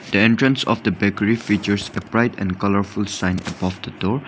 The entrance of the bakery features a bright and colourful sign above the door.